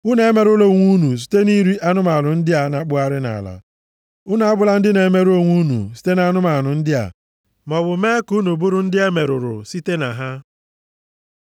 Unu emerụla onwe unu site nʼiri anụmanụ ndị a na-akpụgharị nʼala. Unu abụla ndị na-emerụ onwe unu site nʼanụmanụ ndị a, maọbụ mee ka unu bụrụ ndị e merụrụ site na ha.